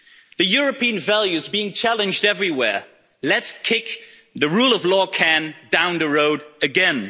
The European values being challenged everywhere let's kick the rule of law can down the road, again.